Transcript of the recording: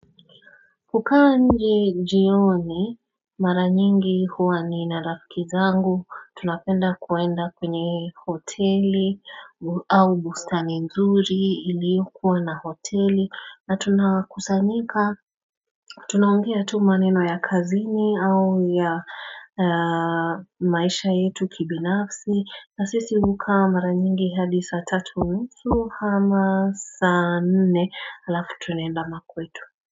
Kukaa nje jioni mara nyingi huwa nina rafiki zangu tunapenda kuenda kwenye hoteli au bustani nzuri iliokuwa na hoteli na tunakusanyika Tunaongea tu maneno ya kazini au ya maisha yetu kibinafsi na sisi hukaa mara nyingi hadi saa tatu unusu ama sana nne alafu tunaenda makwetu.